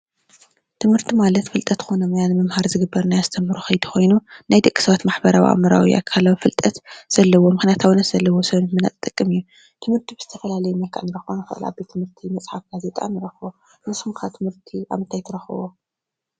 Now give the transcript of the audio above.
ትምህርቲ ማለት ፍልጠት ኮይኑ ምስትምሃር ዝግበር ምምሃር ምስትምሃር ዝግበር ናይ ኣሰተምህሮ ከይዲ ኮይኑ ናይ ደቅሰባት ማሕበራዊ ኣካላት ግልጠት ዘለዎ ምክያቱ ፍልጠት ዘለዎ ሰብ ስለዝጠቅም እዩ።